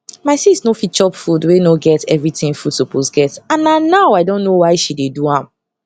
my sis nor fit chop food wey nor get everything food suppose get and na now i don know why she dey do am